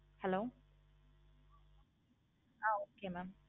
hello ah mam